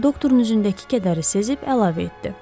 Lakin doktorun üzündəki kədəri sezib əlavə etdi.